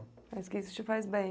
Mas que isso te faz bem.